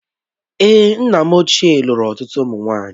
Èé, nna m ochie lụrụ ọtụtụ ụmụ nwaanyị.